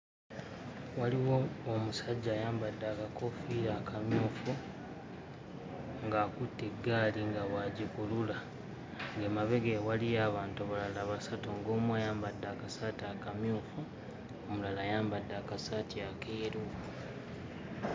Waliwo omusajja ayambadde akakoofiira akamyufu, ng'akutte eggaali nga bw'agikulula ng'emabega we waliyo abantu balala basatu ng'omu ayambadde akasaati akamyufu omulala ayambadde akasaati akeeru.